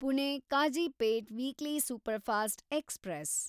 Pune Kazipet weekly superfast express